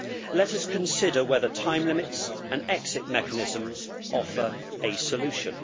Let us consider whether time limits and exit mechanisms offer a solution.